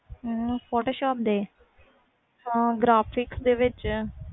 photoshop ਦੇ graphic ਵਿੱਚ